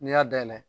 N'i y'a dayɛlɛ